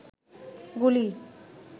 গুলি